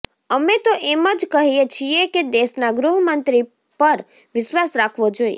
અમે તો એમ જ કહીએ છીએ કે દેશના ગૃહ મંત્રી પર વિશ્વાસ રાખવો જોઈએ